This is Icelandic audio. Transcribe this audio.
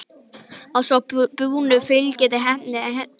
Að svo búnu fylgdi ég henni heim.